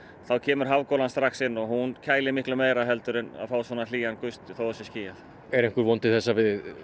þá kemur hafgolan strax inn og hún kælir miklu meira en að fá svona hlýjan þótt það sé skýjað er einhver von til þess að við